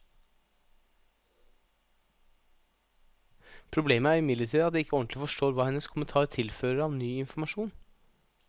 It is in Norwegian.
Problemet er imidlertid at jeg ikke ordentlig forstår hva hennes kommentar tilfører av ny informasjon.